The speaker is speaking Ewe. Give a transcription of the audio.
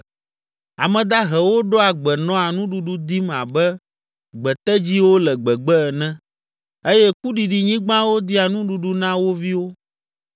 Ame dahewo ɖoa gbe nɔa nuɖuɖu dim abe gbetedziwo le gbegbe ene eye kuɖiɖinyigbawo dia nuɖuɖu na wo viwo.